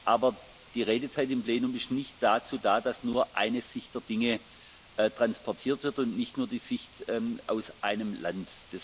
Aber die Redezeit im Plenum ist nicht dazu da, dass nur eine Sicht der Dinge transportiert wird und nicht nur die Sicht aus einem Land.